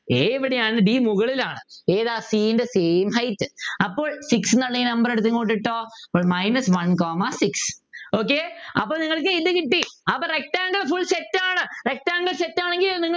a എവിടെയാണ് d മുകളിലാണ് ഏതാ c ൻ്റെ same height അപ്പോൾ six എന്നുള്ളതിനെ നമ്മൾ എടുത്ത് ഇങ്ങോട്ട് ഇട്ടോ അപ്പോൾ minus one comma six okay അപ്പൊ നിങ്ങൾക്ക് എന്ത് കിട്ടി അപ്പൊ rectangle full set ആണ് rectangle set ആണെങ്കിൽ